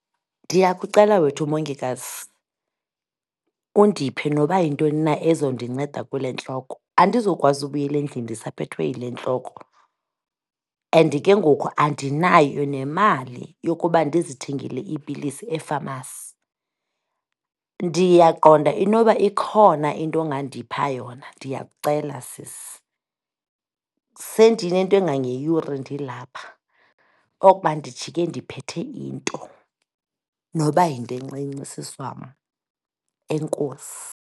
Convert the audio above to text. Ndiyakucela wethu, mongikazi, undiphe noba yintoni na ezondinceda kule ntloko, andizokwazi ukubuyela endlini ndisaphethwe yile ntloko. And ke ngoku andinayo nemali yokuba ndizithengele iipilisi efamasi. Ndiyaqonda inoba ikhona into ongandipha yona, ndiyakucela, sisi. Sendinento engangeyure ndilapha, oko uba ndijike ndiphethe into, noba yinto encinci sisi wam, enkosi.